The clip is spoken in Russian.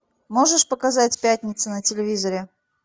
можешь показать пятница на телевизоре